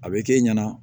A bɛ k'e ɲɛna